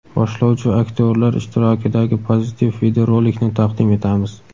boshlovchi va aktyorlar ishtirokidagi pozitiv videorolikni taqdim etamiz!.